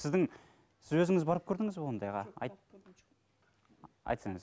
сіздің өзіңіз барып көрдіңіз бе ондайға айтсаңыз